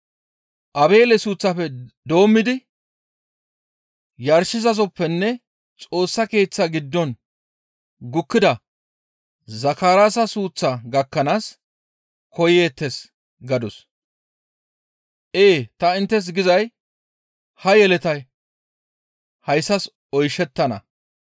Aabeele suuththafe doommidi yarshizasoppenne Xoossa Keeththa giddon gukkida Zakaraasa suuththa gakkanaas koyeettes› gadus. Ee ta inttes gizay ha yeletay hayssas oyshettana.